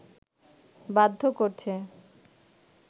বাধ্য করছে